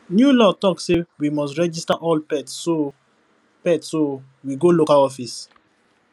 new law talk say we must register all pets so pets so we go local office